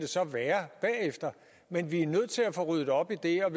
være bagefter men vi er nødt til at få ryddet op i det og